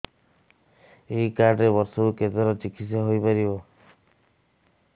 ଏଇ କାର୍ଡ ରେ ବର୍ଷକୁ କେତେ ଥର ଚିକିତ୍ସା ହେଇପାରିବ